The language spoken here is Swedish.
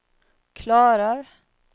klarar